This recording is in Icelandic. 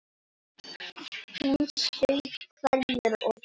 Hún saup hveljur og grét.